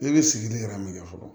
E be sigi de min na fɔlɔ